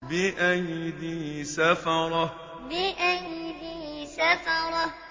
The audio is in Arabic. بِأَيْدِي سَفَرَةٍ بِأَيْدِي سَفَرَةٍ